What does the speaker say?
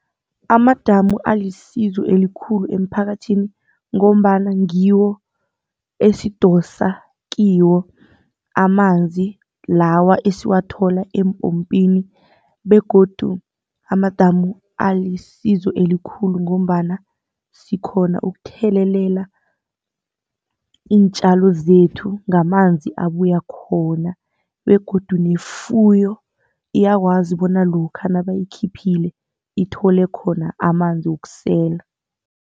Amadamu alisizo elikhulu emphakathini ngombana ngiwo esidosa kiwo amanzi lawa esiwathola eempompini begodu amadamu alisizo elikhulu ngombana sirhona ukuthelelela iintjalo zethu ngamanzi abuya khona. Begodu nefuyo iyakwazi bona lokha nabayikhiphileko ithole khona amanzi wokusela.